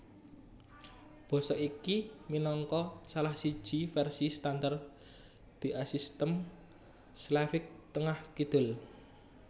Basa iki minangka salah siji vèrsi standar diasistem Slavik Tengah kidul